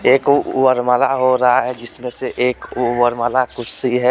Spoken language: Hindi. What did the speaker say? एक वरमाला हो रहा है जिसमे से एक वरमाला कुर्सी है.